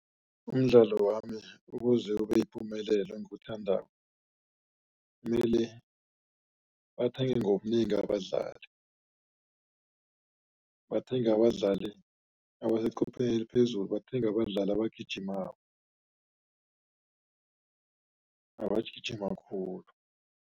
Umdlalo wami ukuze ubeyipumelelo engiwuthandako mele bathenge ngobunengi abadlali, bathenge abadlali abasechopheleni eliphezulu, bathenge abadlali abagijimako abagijima khulu.